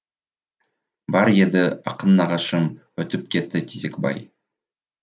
бар еді ақын нағашым өтіп кетті тезекбай